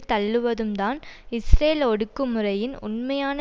தள்ளுவதும் தான் இஸ்ரேல் ஒடுக்குமுறையின் உண்மையான